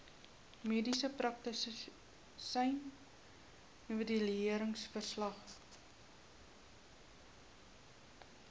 mediese praktisyn evalueringsverslag